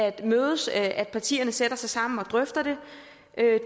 at mødes at partierne sætter sig sammen og drøfter det